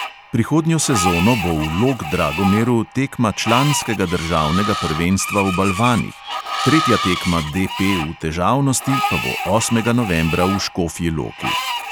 Prihodnjo sezono bo v log-dragomeru tekma članskega državnega prvenstva v balvanih, tretja tekma DP v težavnosti pa bo osmega novembra v škofji loki.